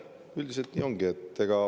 Üldiselt nii ongi.